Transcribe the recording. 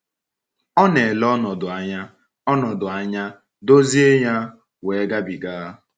Ọ na -ele ọnọdụ anya, ọnọdụ anya, dozie ya, wee gabiga.